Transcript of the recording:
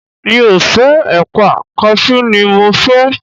mi o fe èpà, cashew ni mo fé